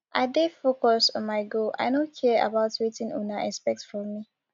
i dey focus on my goal i no care about wetin una expect from me